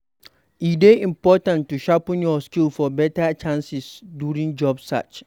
E dey important to sharpen your skills for better chances during job search.